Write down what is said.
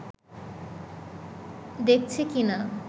দেখছে কি না